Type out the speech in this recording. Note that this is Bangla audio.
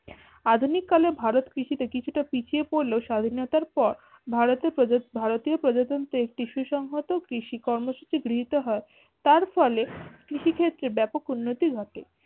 আধুনিকলে ভারত কৃষি তে কিছুটা পিঁছিয়ে পড়লে স্বাধীনতার পর ভারতে প্রজা ভারতীয় প্রজাতান্ত্রিক কৃষি সংঘত কৃষি কর্মসূচি গৃহীত হয় তার ফলে কৃষি ক্ষেত্রে ব্যাপক উন্নতি ঘটে